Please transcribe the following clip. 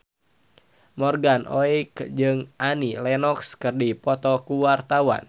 Morgan Oey jeung Annie Lenox keur dipoto ku wartawan